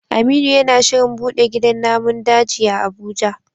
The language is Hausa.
Aminu yana shirin bude gidan namun daji a Abuja